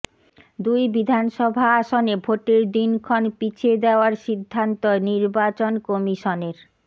দুই বিধানসভা আসনে ভোটের দিনক্ষণ পিছিয়ে দেওয়ার সিদ্ধান্ত নির্বাচন কমিশনের